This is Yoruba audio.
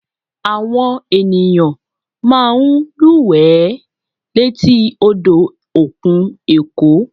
Àwọn ènìyàn máa ń lúwẹ̀ẹ́ létí odò òkun èkó